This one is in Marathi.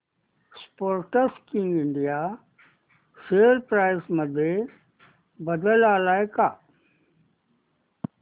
स्पोर्टकिंग इंडिया शेअर प्राइस मध्ये बदल आलाय का